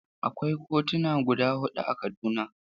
Akwai kotuna guda huɗu a Kaduna.